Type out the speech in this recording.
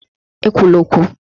E kwula okwu!